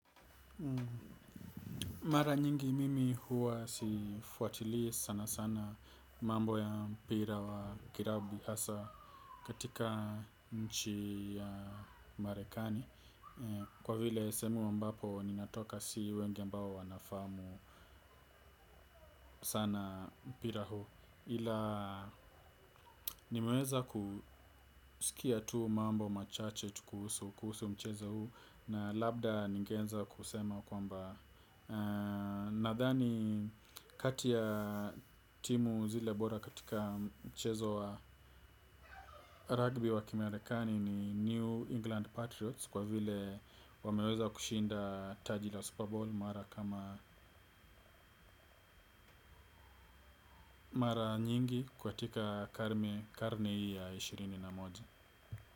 Mara nyingi mimi huwa sifuatilii sana sana mambo ya mpira wa kiragbi hasa katika nchi ya marekani. Kwa vile sehemu ambapo ninatoka si wenge ambao wanafahamu sana mpira huu ila nimeweza kusikia tu mambo machache tu kuhusu mchezo huu. Na labda ningeweza kusema kwamba nadhani kati ya timu zile bora katika mchezo wa ragbi wa kimarekani ni New England Patriots kwa vile wameweza kushinda taji la Super Bowl mara kama mara nyingi kwa tika karne karne hii ya ishirini na moja.